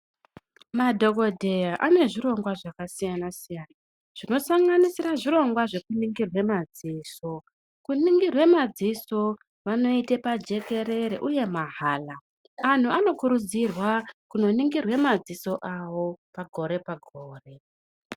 Madhokodheya anezvirongwa zvakasiyana-siyana, zvinosanganisira zvirongwa zvekuningirwe madziso. Kuningirwe madziso vanoite pajekerere, uye mahala. Antu anokurudzirwa kunoningirwa madziso avo pagore-pagore.